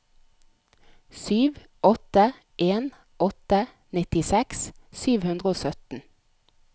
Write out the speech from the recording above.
sju åtte en åtte nittiseks sju hundre og sytten